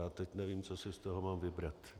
A teď nevím, co si z toho mám vybrat.